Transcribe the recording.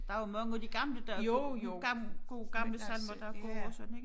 Der jo mange af de gamle der gamle gode gamle salmer der er gode og sådan ikke